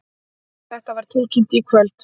Þetta var tilkynnt í kvöld